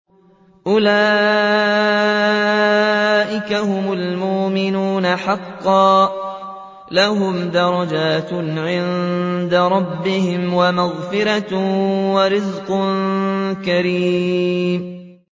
أُولَٰئِكَ هُمُ الْمُؤْمِنُونَ حَقًّا ۚ لَّهُمْ دَرَجَاتٌ عِندَ رَبِّهِمْ وَمَغْفِرَةٌ وَرِزْقٌ كَرِيمٌ